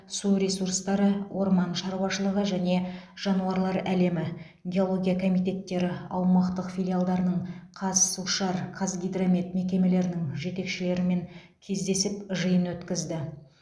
су ресурстары орман шаруашылығы және жануарлар әлемі геология комитеттері аумақтық филиалдарының қазсушар қазгидромет мекемелерінің жетекшілерімен кездесіп жиын өткізді